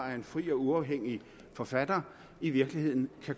er en fri og uafhængig forfatter i virkeligheden for